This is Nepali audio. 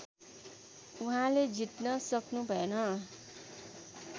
उहाँले जित्न सक्नुभएन